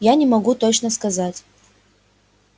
я не могу точно сказать